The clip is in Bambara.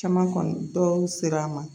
Caman kɔni dɔw sera a ma